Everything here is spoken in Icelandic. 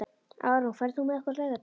Árún, ferð þú með okkur á laugardaginn?